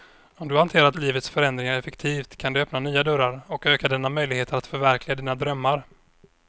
Om du hanterar livets förändringar effektivt kan det öppna nya dörrar och öka dina möjligheter att förverkliga dina drömmar.